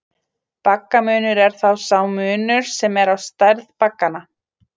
Baggamunur er þá sá munur sem er á stærð bagganna.